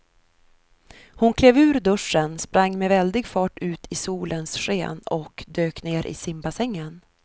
Hon klev ur duschen, sprang med väldig fart ut i solens sken och dök ner i simbassängen.